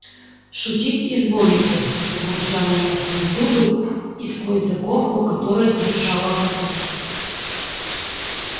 шутить изволите пробурчала я сквозь зубы и сквозь заколку которую держала во рту